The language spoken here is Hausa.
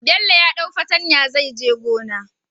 Bello ya dau fatanya zai je gona